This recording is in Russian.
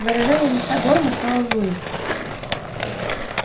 выражение лица горма стало злым